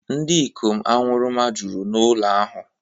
Ndị ikom aṅụrụma juru ụlọ ahụ